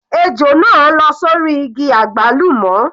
Ejò náà lọ́ sórí igi àgbálùmọ́.